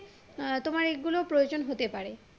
তোমার এই গুলো প্রয়োজন হতে পারে